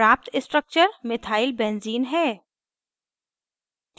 प्राप्त structure methyl benzene methyl benzene है